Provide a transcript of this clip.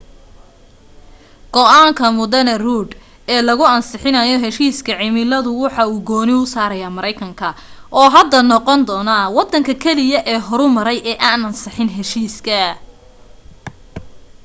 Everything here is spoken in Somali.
go'aanka md rudd ee lagu ansixinayo heshiiska cimiladu wuxu gooni u saaraya maraykanka oo hadda noqon doonta waddanka keliya ee horumaray ee aan ansixin heshiiska